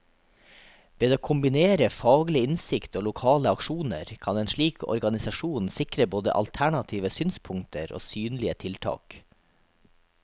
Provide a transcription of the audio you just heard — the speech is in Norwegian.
Ved å kombinere faglig innsikt og lokale aksjoner, kan en slik organisasjon sikre både alternative synspunkter og synlige tiltak.